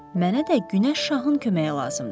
Mənə də Günəş şahın köməyi lazımdır.